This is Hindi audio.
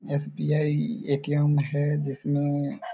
एस_बी_आई ए_टी_एम हैं जिसमे--